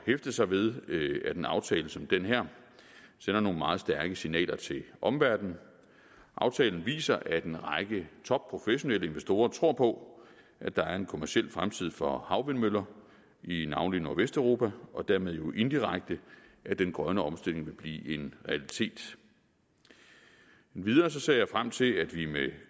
hæfte sig ved at en aftale som den her sender nogle meget stærke signaler til omverdenen aftalen viser at en række topprofessionelle investorer tror på at der er en kommerciel fremtid for havvindmøller i navnlig nordvesteuropa og dermed jo indirekte at den grønne omstilling vil blive en realitet endvidere ser jeg frem til at vi med